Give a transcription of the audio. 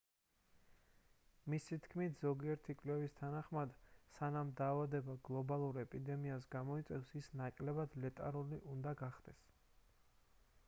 მისი თქმით ზოგიერთი კვლევის თანახმად სანამ დაავადება გლობალურ ეპიდემიას გამოიწვევს ის ნაკლებად ლეტალური უნდა გახდეს